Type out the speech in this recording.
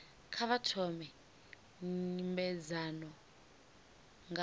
kha vha thome nymbedzano nga